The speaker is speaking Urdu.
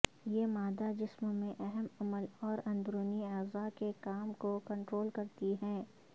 یہ مادہ جسم میں اہم عمل اور اندرونی اعضاء کے کام کو کنٹرول کرتی ہیں